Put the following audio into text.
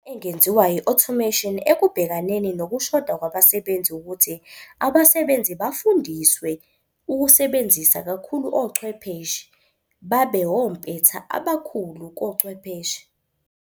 Engenziwa i-automation ekubhekaneni nokushoda kwabasebenzi, wukuthi abasebenzi bafundiswe ukusebenzisa kakhulu ochwepheshe babe wompetha abakhulu kochwepheshe.